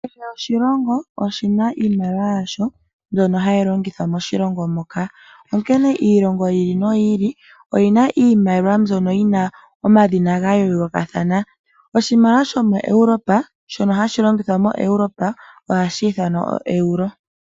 Kehe oshilongo oshina iimaliwa yasho mbyono hayi longithwa moshilongo moka, onkene iilongo yi ili noyi ili oyina iimaliwa mbyono yina omadhina ga yoolokathana. Oshimaliwa shomo Europe shono hashi longithwa mo Europe ohashi ithanwa oEuro.